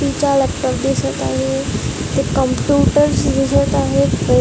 तिच्या लॅपटॉप दिसत आहे हे कम्पुटर दिसत आहे पो--